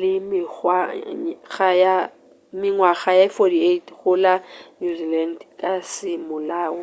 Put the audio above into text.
la mengwaga ye 48 go la new zealand ka semolao